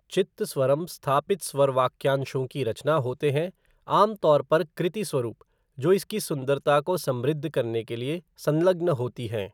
चित्तस्वरम स्थापित स्वर वाक्यांशों की रचना होते हैं, आमतौर पर कृति स्वरुप, जो इसकी सुंदरता को समृद्ध करने के लिए संलग्न होती हैं।